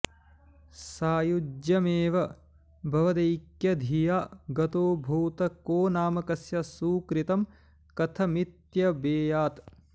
सायुज्यमेव भवदैक्यधिया गतोऽभूत् को नाम कस्य सुकृतं कथमित्यवेयात्